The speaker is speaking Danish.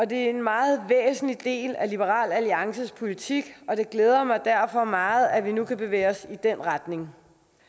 det er en meget væsentlig del af liberal alliances politik og det glæder mig derfor meget at vi nu kan bevæge os i den retning